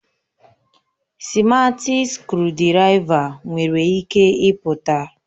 sịmatị skrụdiraiva nwere ike ịpụta